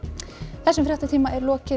þessum fréttatíma er lokið